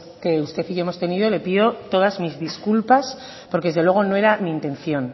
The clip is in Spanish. que usted y yo hemos tenido le pido todas mis disculpas porque desde luego no era mi intención